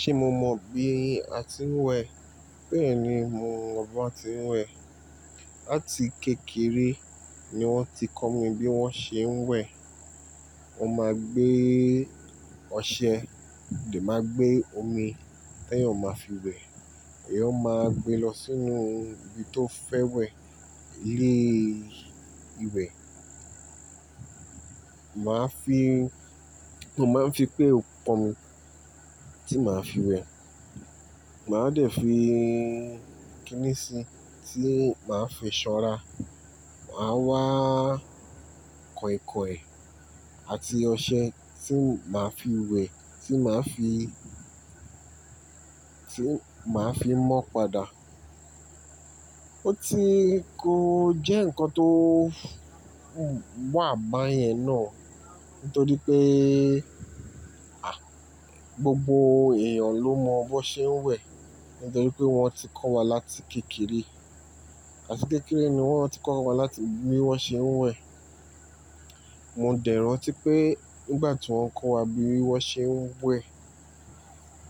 Ṣé mo mọ bí a ti ń wẹ̀? Bẹ́ẹ̀ni, mo mọ bí wón ti ń wẹ̀. Láti kékeré ni wọ́n ti kọ́ mi bí wọ́n ṣe ń wẹ̀. Wọ́n máa gbé ọṣẹ, dẹ̀ máa gbé omi, tẹ́ẹ̀yàn máa fi wẹ̀, èèyàn máa gbe lọ sínú ibi tó ti fẹ́ wẹ̀, ilé ìwẹ̀. Màá fi, mo máa ń fi pale pọ̀nmi tí màá fi wẹ̀. Màá dẹ̀ fi kínìsí tí màá fi ṣanra. Màá wá kainkaìn àti ọṣẹ tí màá fi wẹ̀, tí màá fi, tí màá fi mọ́ pada. Ó ti kọ jẹ́ ǹkan tó wà bá yẹn náà, nítorípé, à, gbogbo èèyàn ló mọ bí wón ṣe ń wẹ̀, nítorípé wọ́n ti kọ́ wa láti kékeré. Láti kékeré ni wọ́n ti kọ́ wa láti bí wọ́n ṣe ń wẹ̀. Mo dẹ̀ rántí pé nígbà tí wọ́n ń kọ́ wa bí wọ́n ṣe ń wẹ̀,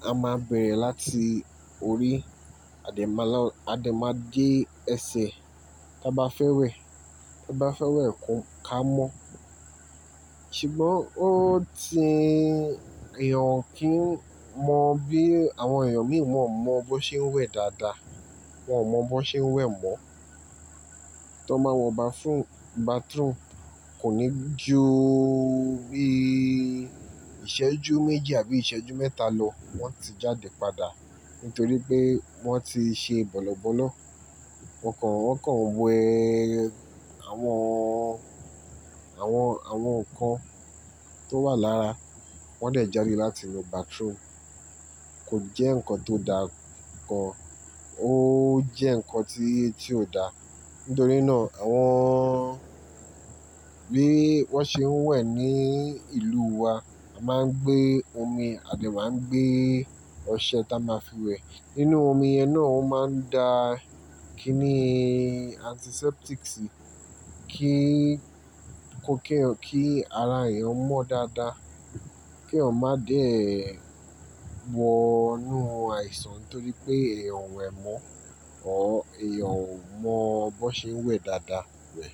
a máa bẹ̀rẹ̀ láti orí, a dè máa lọ, a dè máa dé ẹsẹ̀. Tá bá fẹ́ wẹ̀, tá bá fẹ́ wẹ̀ kun ká mọ́. Ṣùgbọ́n ó ti èèyàn kí n mọ bí àwọn èèyàn mìíràn wọ́n mọ bó ṣe ń wẹ̀ dáadáa. Wọn mọ bi won ṣe ń wẹ̀ mọ́. Tí wọ́n máa wọ bàthroom, kò ní ju bí ìṣẹ́jú méji àbí ìṣẹ́jú mẹ́ta lọ, wọ́n ti jáde padà, nítorí pé wọ́n ti ṣe bọ́lọ̀bọ́lọ̀. Wọn kàn, wọ́n kàn we àwọn, àwọn, àwọn ǹkan tó wà lára. Wọ́n dẹ̀ jáde láti nu bàthroom. Kò jẹ́ ǹkan tó dáa kàn. Ó jẹ́ ǹkan tí, tí ò dáa. Nítorí náà àwọn bí wọ́n ṣe ń wẹ̀ ní ìlúu wa, a máa ń gbé omi, a dè máa ń gbé ọṣẹ táa máa fi wẹ̀. Nínú omi yẹn náà ó máa ń da kiní antiseptics síi kí ẹ, kí ara èèyàn mọ́ dáadáa. Kí èèyàn má dẹ̀ wọ inú àìsàn nítorí pé èèyàn ò wẹ̀ mọ́, or èèyàn ò mọ bi won ṣe ń wẹ̀ dáadáa wẹ̀.